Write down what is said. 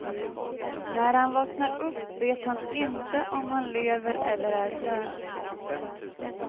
När han vaknar upp vet han inte om han lever eller är död.